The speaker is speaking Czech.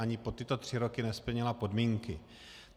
Ani po tyto tři roky nesplnila podmínky.